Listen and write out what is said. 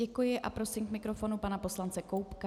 Děkuji a prosím k mikrofonu pana poslance Koubka.